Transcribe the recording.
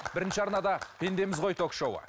бірінші арнада пендеміз ғой ток шоуы